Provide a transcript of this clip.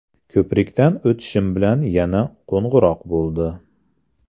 Ko‘prikdan o‘tishim bilan yana qo‘ng‘iroq bo‘ldi.